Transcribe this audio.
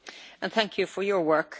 Thank you for your work.